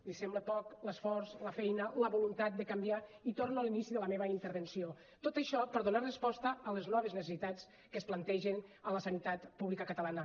li semblen poc l’esforç la feina la voluntat de canviar i torno a l’inici de la meva intervenció tot això per a donar resposta a les noves necessitats que es plantegen a la sanitat pública catalana